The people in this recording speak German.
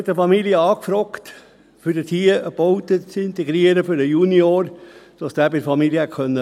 Eine Familie fragte an, dort eine Baute zu integrieren für den Junior, damit dieser bei der Familie hätte wohnen können.